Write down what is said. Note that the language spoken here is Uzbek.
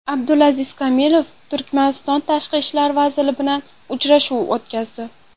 Abdulaziz Komilov Turkmaniston tashqi ishlar vaziri bilan uchrashuv o‘tkazdi.